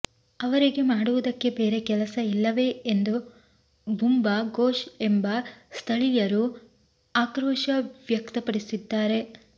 ಅವರಿಗೆ ಮಾಡುವುದಕ್ಕೆ ಬೇರೆ ಕೆಲಸ ಇಲ್ಲವೇ ಎಂದು ಬುಂಬಾ ಘೋಷ್ ಎಂಬ ಸ್ಥಳೀಯಯ ಆಕ್ರೋಶ ವ್ಯಕ್ತಪಡಿಸಿದ್ದಾರೆ